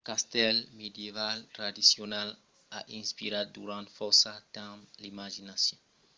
lo castèl medieval tradicional a inspirat durant fòrça temps l’imaginacion evocant d’imatges d’ajustas de banquets e de cavalariá arturiana